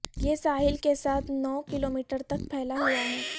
یہ ساحل کے ساتھ نو کلومیٹر تک پھیلا ہوا ہے